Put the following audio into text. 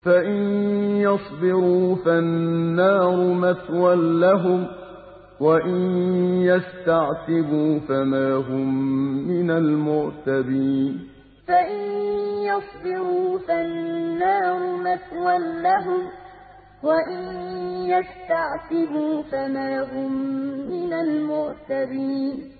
فَإِن يَصْبِرُوا فَالنَّارُ مَثْوًى لَّهُمْ ۖ وَإِن يَسْتَعْتِبُوا فَمَا هُم مِّنَ الْمُعْتَبِينَ فَإِن يَصْبِرُوا فَالنَّارُ مَثْوًى لَّهُمْ ۖ وَإِن يَسْتَعْتِبُوا فَمَا هُم مِّنَ الْمُعْتَبِينَ